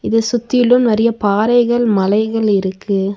இத சுத்தியிலும் நெறைய பாறைகள் மலைகள் இருக்கு.